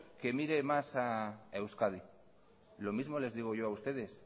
que mire más a euskadi lo mismo les digo yo a ustedes